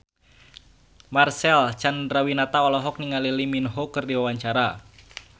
Marcel Chandrawinata olohok ningali Lee Min Ho keur diwawancara